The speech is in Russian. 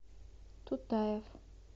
тутаев